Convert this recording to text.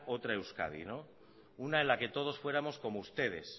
otra euskadi una en la que todos fuéramos como ustedes